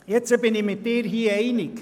Nun bin ich hier mit Ihnen einig.